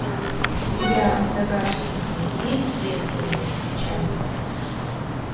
у тебя в загашнике есть детский час